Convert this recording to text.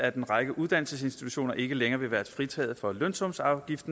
at en række uddannelsesinstitutioner ikke længere vil være fritaget for lønsumsafgift